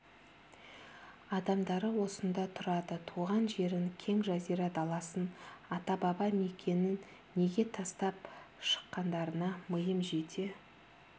адамдары осында тұрады туған жерін кең жазира даласын ата-баба мекенін неге тастап шыққандарына миым жете